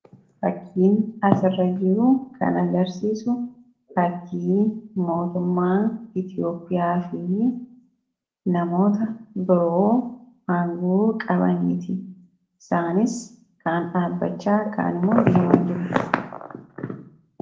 Fakkiin asirra jiru kan agarsiisu fakkii mootummaa Itoophiyaa fi namoota biroo aangoo qabaniiti. Isaanis immoo kan dhaabbachaa yookaan deemaa jiranidha.